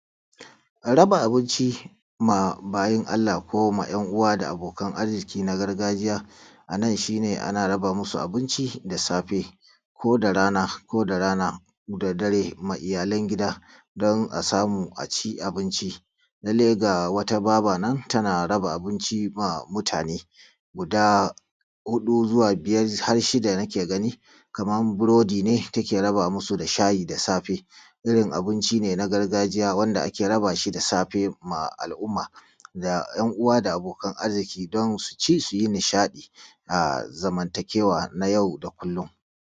Raba abinci ma bayin Allah ko ma ‘yan uwa da abokan arziƙi na gargajiya, a nan shi ne ana raba musu abinci da safe ko da rana da dare ma iyalan gida don a samu a ci abinci. Lallai ga wata Baba nan tana raba abinci ba mutane guda hudu zuwa biyar har shida nake gani. Kamar burodi ne take raba musu da shayi da safe. irin abunci neː naː gargaʤija wanda ake raba shi da saːɸe: a alumma da jan uwaː da abookan arziƙii don su ʧi su ji niʃaːɗi a zamantakeːwa naː jau da kullum